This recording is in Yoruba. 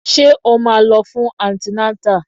Ṣé o máa lọ fún antinátà?